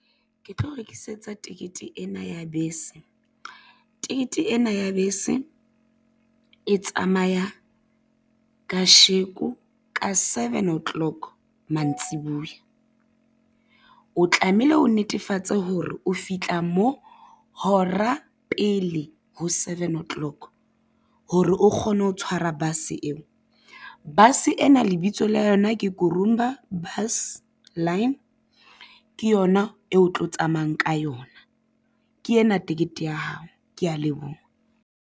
Ke tlo rekisetsa tekete ena ya bese. Tekete ena ya bese e tsamaya kasheko ka seven o'clock mantsibuya, o tlamehile o netefatse hore o fihla mo hora pele ho seven o'clock hore o kgone ho tshwara bus eo. Base ena lebitso la yona ke Gurumba Bus Line, ke yona eo o tlo tsamayang ka yona. Ke ena tekete ya hao, kea leboha.